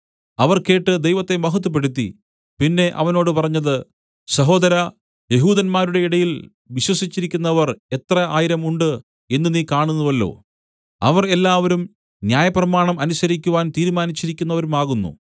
അവർ കേട്ട് ദൈവത്തെ മഹത്വപ്പെടുത്തി പിന്നെ അവനോട് പറഞ്ഞത് സഹോദരാ യെഹൂദന്മാരുടെ ഇടയിൽ വിശ്വസിച്ചിരിക്കുന്നവർ എത്ര ആയിരം ഉണ്ട് എന്ന് നീ കാണുന്നുവല്ലോ അവർ എല്ലാവരും ന്യായപ്രമാണം അനുസരിക്കുവാൻ തീരുമാനിച്ചിരിക്കുന്നവരുമാകുന്നു